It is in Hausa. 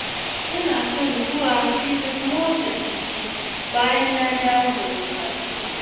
Ina son zuwa filin motsa jiki bayan na dawo daga kasuwa.